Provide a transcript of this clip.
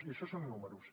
i això són números